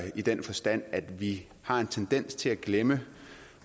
i den forstand at vi har en tendens til at glemme